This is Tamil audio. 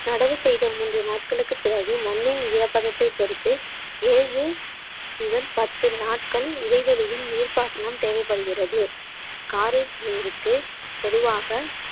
நடவு செய்த மூன்று நாட்களுக்குப் பிறகு மண்ணின் ஈரப்பதத்தைப் பொறுத்து ஏழு முதல் பத்து நாட்கள் இடைவெளியில் நீர்ப்பாசனம் தேவைப்படுகிறது காரை பொதுவாக